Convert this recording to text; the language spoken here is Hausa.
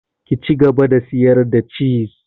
Ki cigaba da sayar da ciz!